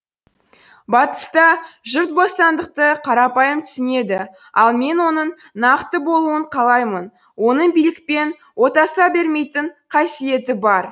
батыста жұрт бостандықты қарапайым түсінеді ал мен оның нақты болуын қалаймын оның билікпен отаса бермейтін қасиеті бар